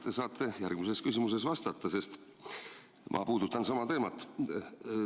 Jah, te saate järgmisele küsimusele vastates jätkata, sest ma puudutan sama teemat.